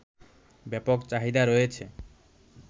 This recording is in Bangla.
ব্যাপক চাহিদা রয়েছে